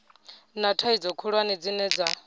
na thaidzo khulwane dzine dza